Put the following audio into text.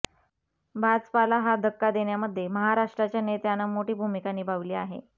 भाजपाला हा धक्का देण्यामध्ये महाराष्ट्राच्या नेत्यानं मोठी भूमिका निभावली आहे